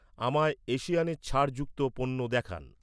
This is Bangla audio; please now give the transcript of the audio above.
আমায় এশিয়ানের ছাড় যুক্ত পণ্য দেখান